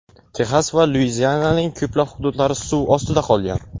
Texas va Luiziananing ko‘plab hududlari suv ostida qolgan.